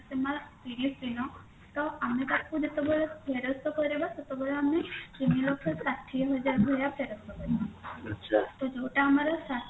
ସୀମା ତିରିଶଦିନ ତ ଆମେ ତାକୁ ଯେତେବେଳେ ଫେରସ୍ତ କରିବା ସେତେବେଳେ ଆମେ ତିନିଲକ୍ଷ ଷାଠିଏ ହଜାର ଭଳିଆ ଫେରସ୍ତ କରିବା ତ ଯୋଉଟା ଆମର ଷାଠିଏ